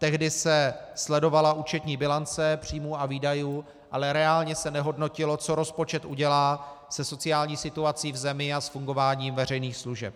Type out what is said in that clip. Tehdy se sledovala účetní bilance příjmů a výdajů, ale reálně se nehodnotilo, co rozpočet udělá se sociální situací v zemi a s fungováním veřejných služeb.